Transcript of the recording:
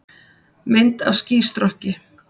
Mynd af skýstrokki.